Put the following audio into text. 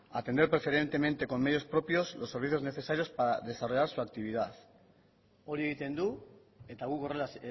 atender preferentemente con medios propios los servicios necesarios para desarrollar su actividad hori egiten du eta guk horrela